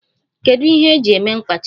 Kedu ihe eji eme mkpachi?